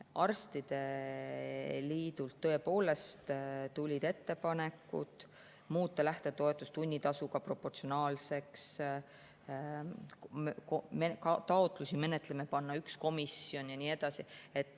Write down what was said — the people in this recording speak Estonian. Arstide liidult tulid tõepoolest ettepanekud muuta lähtetoetus tunnitasuga proportsionaalseks, panna taotlusi menetlema üks komisjon ja nii edasi.